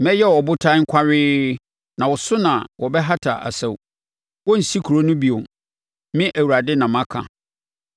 Mɛyɛ wo ɔbotan kwawee, na wo so na wɔbɛhata asau. Wɔrensi kuro no bio. Me Awurade na maka!